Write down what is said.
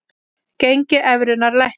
Gengi evrunnar lækkar